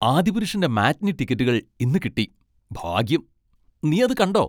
ആദിപുരുഷിന്റെ matinee ടിക്കറ്റുകൾ ഇന്ന് കിട്ടി. ഭാഗ്യം. നീ അത് കണ്ടോ?